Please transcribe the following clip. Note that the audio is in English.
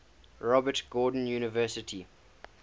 robert gordon university